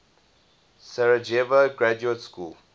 sarajevo graduate school